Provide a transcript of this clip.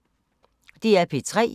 DR P3